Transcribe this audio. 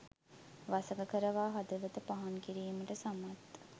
වසඟ කරවා හදවත පහන් කිරීමට සමත්